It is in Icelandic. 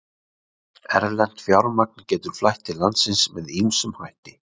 Erlent fjármagn getur flætt til landsins með ýmsum hætti.